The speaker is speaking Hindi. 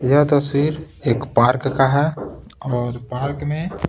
यह तस्वीर एक पार्क का है और पार्क में--